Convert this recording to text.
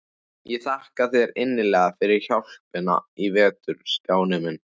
Ég þakka þér innilega fyrir hjálpina í vetur, Stjáni minn.